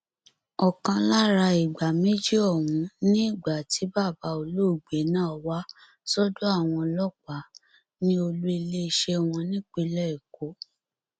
ọkan lára ìgbà méjì ọhún ni ìgbà tí bàbá olóògbé náà wá sọdọ àwọn ọlọpàá ní olùiléeṣẹ wọn nípínlẹ èkó